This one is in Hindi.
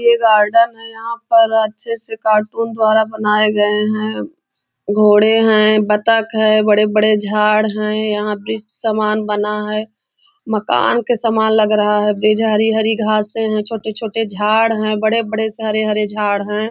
यह गार्डन है यहाँ पर अच्छे कार्टून दुवारा बनाये गए है घोड़े है बतक है बड़े बड़े झाड़ है यहाँ व्रिक्स समान बना है मकान का समान लग रहा है बीच हरी हरी घासें है छोटे छोटे झाड़ है बड़े बड़े हरे हरे झाड़ है।